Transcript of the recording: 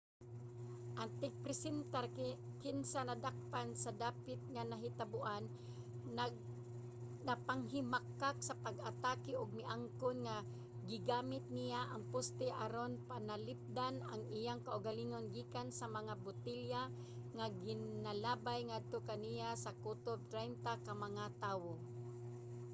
ang tigpresentar kinsa nadakpan sa dapit nga nahitaboan nagpanghimakak sa pag-atake ug miangkon nga gigamit niya ang poste aron mapanalipdan ang iyang kaugalingon gikan sa mga botelya nga ginalabay ngadto kaniya sa kutob traynta ka mga tawo